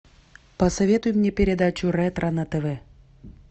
посоветуй мне передачу ретро на тв